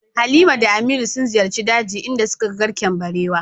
Halima da Aminu sun ziyarci dajin inda suka ga garken barewa.